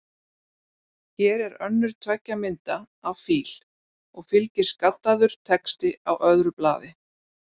Hér er önnur tveggja mynda af fíl, og fylgir skaddaður texti á öðru blaði.